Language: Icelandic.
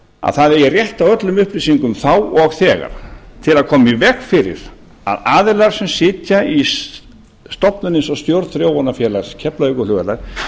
að það eigi rétt á öllum upplýsingum þá og þegar til að koma í veg fyrir að aðilar sem sitja í stofnun eins og stjórn þróunarfélags keflavíkurflugvallar